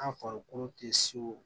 An farikolo tɛ se o